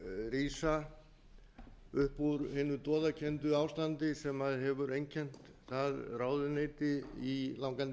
rísa upp úr hinu doðakennda ástandi sem hefur einkennt það ráðuneyti í langan